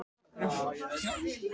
Það var ekki til neins að hrópa.